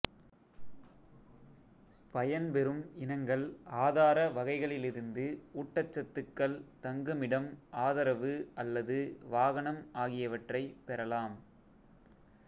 பயன் பெறும் இனங்கள் ஆதார வகைகளிலிருந்து ஊட்டச்சத்துக்கள் தங்குமிடம் ஆதரவு அல்லது வாகனம் ஆகியவற்றைப் பெறலாம்